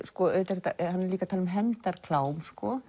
líka að tala um hefndarklám